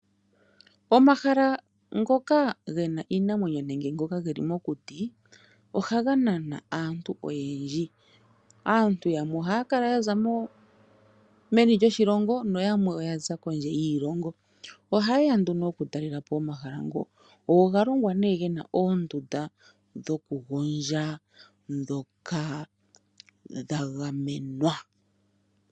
Omahala ngoka ge na iinamwenyo nenge ngoka ge li mokuti, ohaga nana aantu oyendji. Aantu yamwe ohaya kala ya za meni lyoshilongo nayalwe ya zala kondje yoshilongo. Ohaye ya nduno okutalela po omahala ngoka. Oga longwa ge na oondunda dhokugondja ndhoka dha gamenwa.